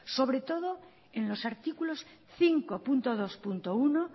sobre todo en los artículos cinco punto dos punto uno